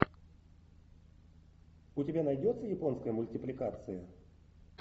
у тебя найдется японская мультипликация